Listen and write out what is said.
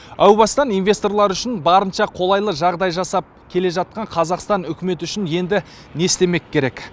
әу бастан инвесторлар үшін барынша қолайлы жағдай жасап келе жатқан қазақстан үкіметі үшін енді не істемек керек